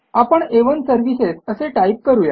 आपण आ1 सर्व्हिसेस असे टाईप करू या